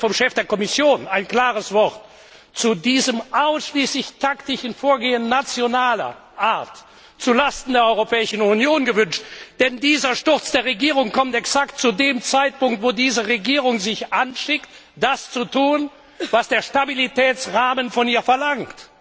Aber ich hätte mir vom Chef der Kommission ein klares Wort zu diesem ausschließlich taktischen Vorgehen nationaler Art zu Lasten der Europäischen Union gewünscht, denn der Sturz dieser Regierung kommt exakt zu dem Zeitpunkt, wo diese Regierung sich anschickt, das zu tun, was der Stabilitätsrahmen von ihr verlangt.